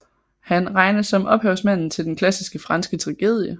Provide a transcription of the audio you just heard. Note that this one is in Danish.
Han regnes som ophavsmanden til den klassiske franske tragedie